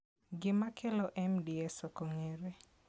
Gima kelo MDS ok ong'ere.